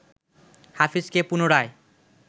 হাফিজকে পুনরায়